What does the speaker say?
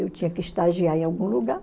Eu tinha que estagiar em algum lugar.